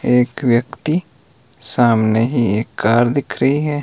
एक व्यक्ति सामने ही एक कार दिख रही है।